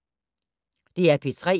DR P3